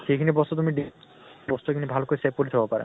সেই খিনি বস্তু তুমি বস্তু খিনি ভাল কৈ save কৰি থব পাৰা।